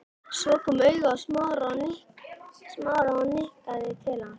Kom svo auga á Smára og nikkaði til hans.